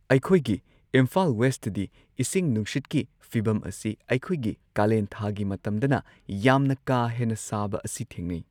ꯑꯩꯈꯣꯏꯒꯤ ꯏꯝꯐꯥꯜ ꯋꯦꯁꯇꯗꯤ ꯏꯁꯤꯡ ꯅꯨꯡꯁꯤꯠꯀꯤ ꯐꯤꯕꯝ ꯑꯁꯤ ꯑꯩꯈꯣꯏꯒꯤ ꯀꯥꯂꯦꯟꯊꯥꯒꯤ ꯃꯇꯝꯗꯅ ꯌꯥꯝꯅ ꯀꯥꯥ ꯍꯦꯟꯅ ꯁꯥꯕ ꯑꯁꯤ ꯊꯦꯡꯅꯩ꯫